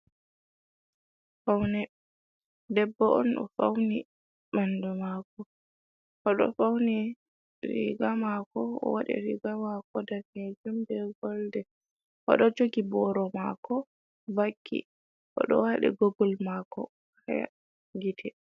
Fawne, debbo on ɗo fauwni ɓandu maako, o ɗo fawni riiga maako, o waɗi riiga maako daneejum bee golden, o ɗo jogi Booro maako vakki, o ɗo waɗi Googul maako haa gite.